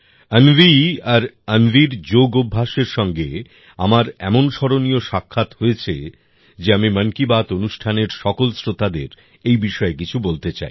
অন্বি আর অন্বির যোগ অভ্যাসের সঙ্গে আমার এমন স্মরণীয় সাক্ষাৎ হয়েছে যে আমি মন কি বাত অনুষ্ঠানের সকল শ্রোতাদের এই বিষয়ে কিছু বলতে চাই